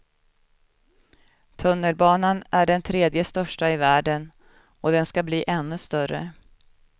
Tunnelbanan är den tredje största i världen, och den skall bli ännu större.